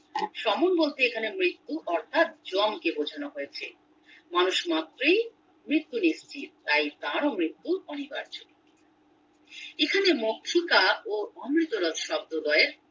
বলতে এখানের মৃত্যু অর্থাৎ জম কে বোঝানো হয়েছে মানুষ মাত্রই মৃত্যু নিশ্চিত তাই তারও মৃত্যু অনিবার্য এখানে ও অমৃতরস শব্দ দ্বয়ের